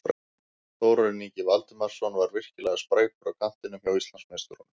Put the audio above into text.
Þórarinn Ingi Valdimarsson var virkilega sprækur á kantinum hjá Íslandsmeisturunum.